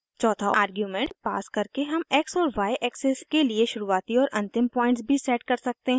चौथा argument pass करके हम x और y एक्सिस के लिए शुरूआती और अन्तिम पॉइंट्स भी सेट कर सकते हैं